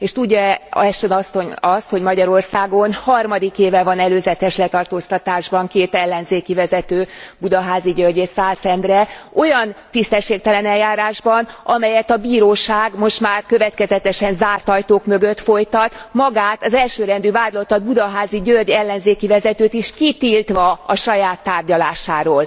És tudja e Ashton asszony azt, hogy Magyarországon harmadik éve van előzetes letartóztatásban két ellenzéki vezető, Budaházy György és Szász Endre, olyan tisztességtelen eljárásban, amelyet a bíróság most már következetesen zárt ajtók mögött folytat, magát az elsőrendű vádlottat, Budaházy György ellenzéki vezetőt is kitiltva a saját tárgyalásáról.